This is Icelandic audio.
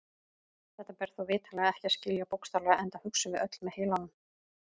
Þetta ber þó vitanlega ekki að skilja bókstaflega enda hugsum við öll með heilanum.